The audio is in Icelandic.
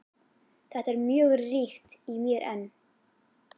Þetta er mjög ríkt í mér enn.